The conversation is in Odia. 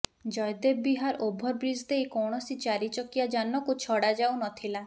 ଜୟଦେବ ବିହାର ଓଭରବ୍ରିଜ ଦେଇ କୈାଣସି ଚାରି ଚକିଆ ଯାନକୁ ଛଡାଯାଉନଥିଲା